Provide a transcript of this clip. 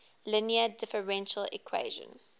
linear differential equation